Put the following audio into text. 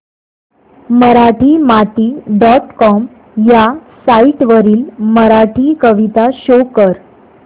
Marathimati dot com ह्या site वरील मराठी कविता शो कर